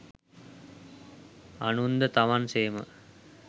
අනුන්ද තමන් සේම